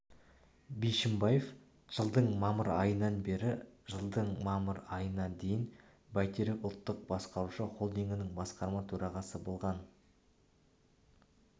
бишімбаев жылдың мамыр айынбан бері жылдың мамыр айына дейін байтерек ұлттық басқарушы холдингі басқарма төрағасы болған